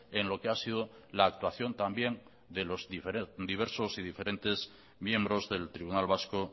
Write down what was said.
en lo que ha sido la actuación también de los diversos y diferentes miembros del tribunal vasco